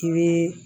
K'i bɛ